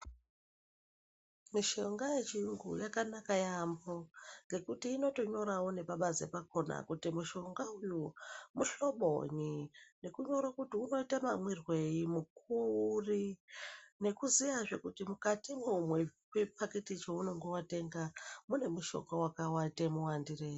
Mushonga yechiyungu yakanaka yaamho ngekuti inotonyorwawo nepabanze pakhona kutii mushonga uwu muhlobonyi ,nekunyorwa kuti unoizwa mamwirwei mukuwo uri ,nekuziyazve kuti mukatimwo mwechipakiti cheunenge watenga mune mushonga wakaite mawandirei.